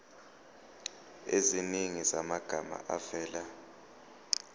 eziningi zamagama avela